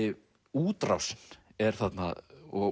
útrásin er þarna og